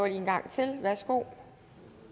en gang til værsgo